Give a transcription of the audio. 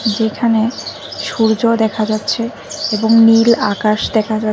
এখানে সূর্য দেখা যাচ্ছে এবং নীল আকাশ দেখা যা--